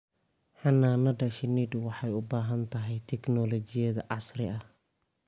Xannaanada shinnidu waxay u baahan tahay tignoolajiyada casriga ah.